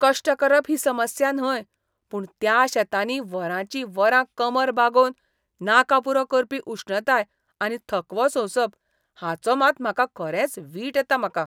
कश्ट करप ही समस्या न्हय, पूण त्या शेतांनी वरांचीं वरां कमर बागोवन, नाका पुरो करपी उश्णताय आनी थकवो सोंसप, हाचो मात म्हाका खरेंच वीट येता म्हाका.